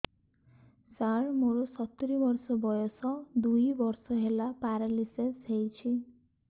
ସାର ମୋର ସତୂରୀ ବର୍ଷ ବୟସ ଦୁଇ ବର୍ଷ ହେଲା ପେରାଲିଶିଶ ହେଇଚି